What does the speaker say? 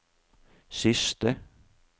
siste